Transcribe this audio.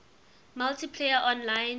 multiplayer online games